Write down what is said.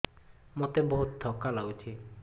ମୋତେ ବହୁତ୍ ଥକା ଲାଗୁଛି